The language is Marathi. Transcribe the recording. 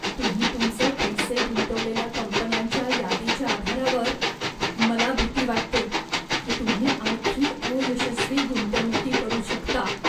तुम्ही तुमचे पैसे गुंतवलेल्या कंपन्यांच्या यादीच्या आधारावर, मला भीती वाटते की तुम्ही आणखी अयशस्वी गुंतवणुकी करू शकता.